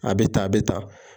A bɛ ta a bɛ ta.